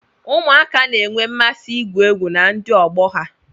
Ụmụaka na-enwe mmasị igwu egwu na ndị ọgbọ ha